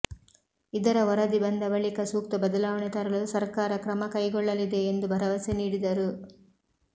ಇದರ ವರದಿ ಬಂದ ಬಳಿಕ ಸೂಕ್ತ ಬದಲಾವಣೆ ತರಲು ಸರ್ಕಾರ ಕ್ರಮ ಕೈಗೊಳ್ಳಲಿದೆ ಎಂದು ಭರವಸೆ ನೀಡಿದರು